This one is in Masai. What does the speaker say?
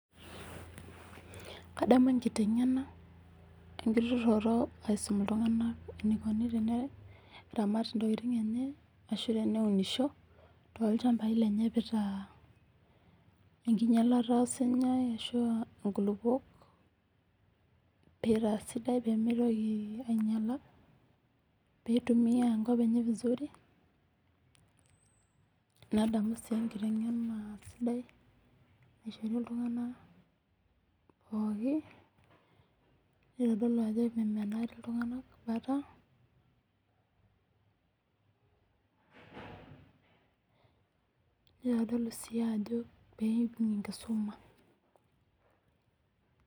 Kadamu enkiteng'ena. Enkitururoto aiteng'en iltung'ana eneikuni teneramat intokitin enye ashu teneunisho toolchambai lenye peitaa eninyalata osinyai ashu aa inkulukok, pee eitaa sidai pemeitoki ainyala, pee eituiya enkop enye vizuri. Nadamu sii enkiteng'ena sidai naishori iltung'ana pooki neitodolu ajo memenaari iltung'ana aikata, neitodolu sii ajo peeibung'i enkisuma.